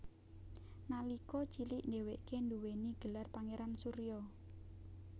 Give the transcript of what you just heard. Nalika cilik dheweke duwéni gelar Pangeran Surya